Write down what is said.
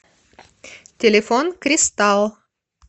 телефон кристалл